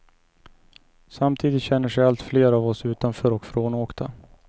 Samtidigt känner sig allt fler av oss utanför och frånåkta.